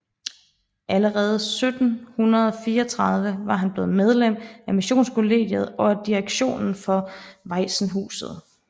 Allerede 1734 var han blevet medlem af Missionskollegiet og af direktionen for Waisenhuset